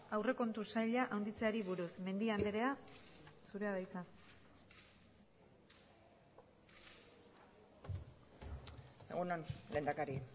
aurrekontu saila handitzeari buruz mendia andrea zurea da hitza egun on lehendakari